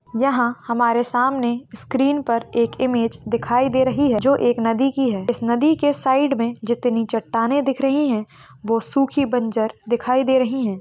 यहाँ हमारे सामने स्क्रीन पर एक इमेज दिखाई दे रही है जो एक नदी की है इस नदी के साइड मे जितनी चट्टानें दिख रही है वो सुखी बंजर दिखाई दे रही है।